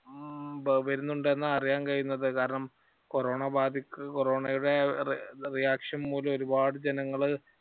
വരുന്നുണ്ടെന്ന് അറിയാൻ കഴിയുന്നത്. കാരണം കൊറോണ ബാധിക്കു - കൊറോണയുടെ reaction മൂലം ഒരുപാട് ജനങ്ങള്